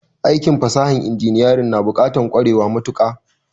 Aikin fasahan inginiyarin na bukatan kwarewa mayuka